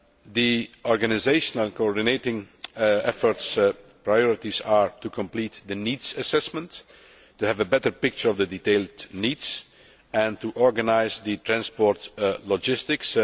The organisational coordinating effort's priorities are to complete the needs assessment, to have a better picture of the detailed needs and to organise the transport logistics.